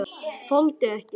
Þoldi ekki.